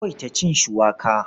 Ku yawaita cin shuwaka.